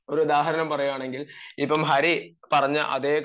ഒരു ഉദാഹരണം പറയുകയാണെങ്കിൽ ഇപ്പം ഹരി പറഞ്ഞ അതെ കാര്യം